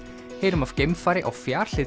heyrum af geimfari á